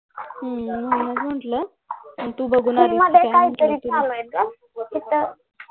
हम्म म्हणून म्हंटल तू बघून आल्यास काय